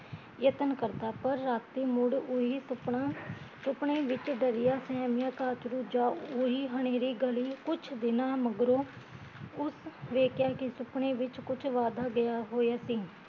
ਯਤਨ ਕਰਦਾ ਪਰ ਰਾਤੀ ਮੁੜ ਓਹੀ ਸੁਪਨਾ, ਸੁਪਨੇ ਵਿੱਚ ਡਰਿਆ ਸਹਿਮੀਆ ਕਾਚਰੂ ਜਾ ਓਹੀ ਹਨੇਰੀ ਗਲੀ, ਕੁਛ ਦਿਨਾ ਮਗਰੋਂ ਉਸ ਵੇਖਿਆ ਕੀ ਸੁਪਨੇ ਵਿੱਚ ਕੁਛ ਵਾਦਾ ਗਿਆ ਹੋਇਆ ਸੀ